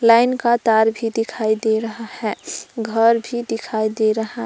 line का तार भी दिखाई दे रहा है घर भी दिखाई दे रहा--